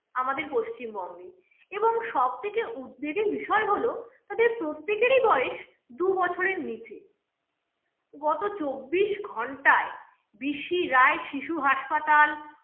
আমাদের পশ্চিমবঙ্গে এবং সব থেকে উদ্বেগের বিষয় হলো, তাদের প্রত্যেকেরই বয়স দু বছরের নিচে গত চব্বিশ ঘন্টায় বি সি রায় শিশু হাসপাতাল